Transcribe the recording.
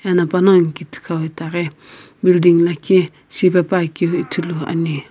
ena panongu ki thikau itaghi building lakhi shipepuakeu ithuluani.